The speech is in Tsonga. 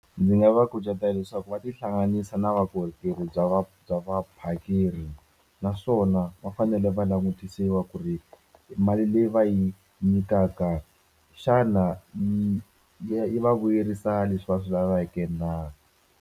Ndzi nga va kucetela leswaku va tihlanganisa na vakorhokeri bya va bya vaphakeri naswona va fanele va langutisiwa ku ri mali leyi va yi nyikaka xana yi yi vuyerisa leswi va swi laveke na.